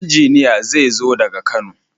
injiniya zezo daga kano.